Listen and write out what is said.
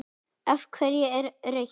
Af hverju ekki rautt?